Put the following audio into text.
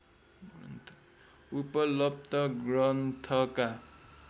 उपलब्ध ग्रन्थका